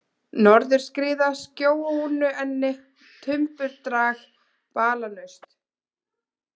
Norðurskriða, Skjónuenni, Tumbudrag, Balanaust